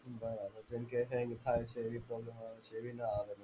બરાબર જેમકે એવિ ના આવે.